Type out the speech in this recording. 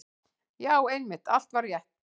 Já, einmitt, allt var rétt.